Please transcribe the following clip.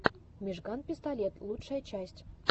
мижган пистолет лучшая часть